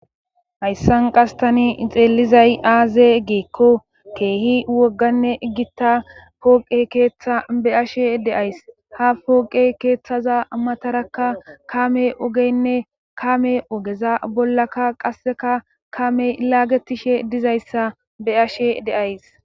hayssan qastani xeellizay aaze giikko keehi wogganne gitta pooqe keeththa be ashe deays ha pooqe keeththaza matarakka kame ogeynne kame ogeza bollaka qasseka kamey laagetishe dizayssa be ashe deays